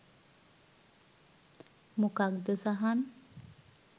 මොකක්ද සහන්